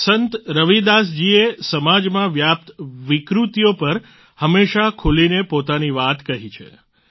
સંત રવિદાસ જીએ સમાજમાં વ્યાપ્ત વિકૃતિઓ પર હંમેશા ખૂલીને પોતાની વાત કહી છે